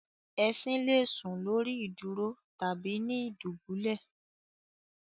Esin le sùn lórí ìdúró tàbí ni ìdúbulẹ̀